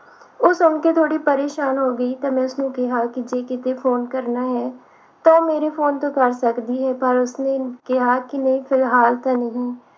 ਉਹ ਸੁਣ ਕੇ ਥੋੜੀ ਪਰੇਸ਼ਾਨ ਹੋ ਗਈ ਤੇ ਮੈਂ ਉਸਨੂੰ ਕਿਹਾ ਕਿ ਜੇ ਕਿਤੇ phone ਕਰਨਾ ਹੈ ਤਾਂ ਮੇਰੇ phone ਤੋਂ ਕਰ ਸਕਦੀ ਹੈ ਪਰ ਉਸਨੇ ਕਿਹਾ ਕਿ ਨਹੀਂ ਫਿਲਹਾਲ ਤੇ ਨਹੀ